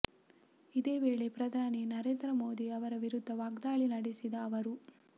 ಇದೇ ವೇಳೆ ಪ್ರಧಾನಿ ನರೇಂದ್ರ ಮೋದಿ ಅವರ ವಿರುದ್ಧ ವಾಗ್ದಾಳಿ ನಡೆಸಿದ ಅವರು